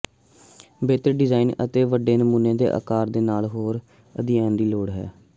ਬਿਹਤਰ ਡਿਜ਼ਾਈਨ ਅਤੇ ਵੱਡੇ ਨਮੂਨੇ ਦੇ ਅਕਾਰ ਦੇ ਨਾਲ ਹੋਰ ਅਧਿਐਨ ਦੀ ਲੋੜ ਹੈ